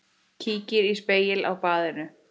Kíkir í spegil á baðinu.